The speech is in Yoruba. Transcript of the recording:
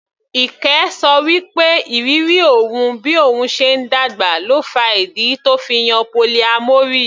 Ike ṣọ wí pé ìrírí òun bí òun ṣe ń dàgbà ló fa ìdí tó fi yan polyamory.